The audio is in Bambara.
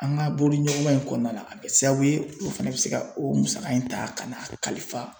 An ka bolodiɲɔgɔnma in kɔnɔna la a bɛ kɛ sababu ye dɔw fana bɛ se ka o musaka in ta ka n'a kalifa.